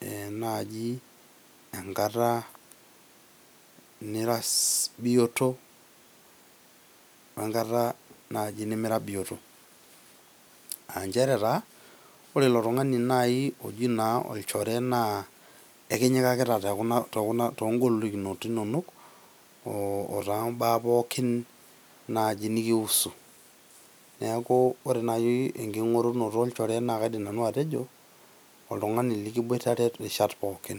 e naji enkata naji nira bioto wenkata naji nimira bioto . Aa nchere taa ore naji ilo tungani oji naji olchore naa ekinyikata too ngolikinot inonok , otoombaa pookin naji nikihusu . Niaku ore naji enkingorunoto olchore naa kaidim naji atejo oltungani likingorunore irishat pookin.